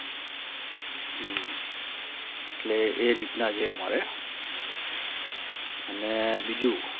એટલે એ રીતના છે અમારે અને બીજું